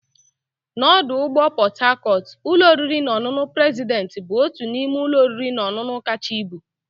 N'ọdụ ụgbọ Port Harcourt, ụlọ oriri na ọṅụṅụ president bụ otu n'ime ụlọ oriri na ọṅụṅụ kacha ibu.